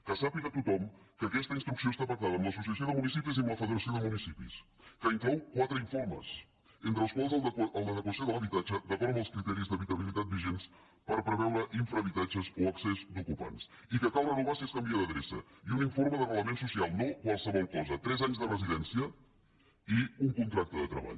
que sàpiga tothom que aquesta instrucció està pactada amb l’associació de municipis i amb la federació de municipis que inclou quatre in·formes entre els quals el d’adequació de l’habitatge d’acord amb els criteris d’habitabilitat vigents per pre·veure infrahabitatges o excés d’ocupants i que cal re·novar si es canvia d’adreça i un informe d’arrelament social no qualsevol cosa tres anys de residència i un contracte de treball